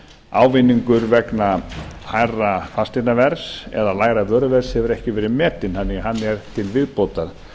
ávinningur vegna hærra fasteignaverðs eða lægra vöruverðs hefur ekki verið metinn þannig að hann er til viðbótar